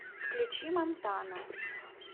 включи мантана